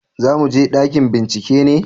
za mu je ɗakin bincike ne?